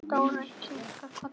Dóra kinkaði kolli.